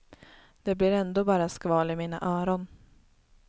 Det blir ändå bara skval i mina öron.